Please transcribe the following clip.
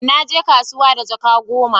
Na je kasuwa da jaka goma